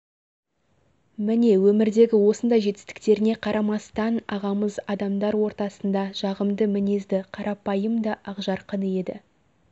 міне өмірдегі осындай жетістіктеріне қарамастан ағамыз адамдар ортасында жағымды мінезді қарапайым да ақжарқын еді